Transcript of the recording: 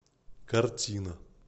картина